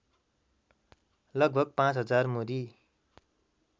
लगभग ५ हजार मुरी